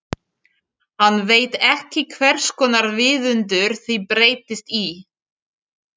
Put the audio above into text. Hann veit ekki hverskonar viðundur þið breytist í.